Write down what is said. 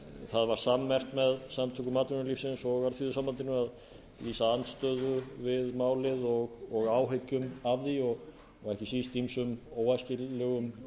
það var sammerkt með samtökum atvinnulífsins og alþýðusambandinu að lýsa andstöðu við málið og áhyggjum af því og ekki síst ýmsum óæskilegum